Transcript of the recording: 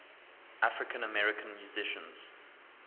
african american musicians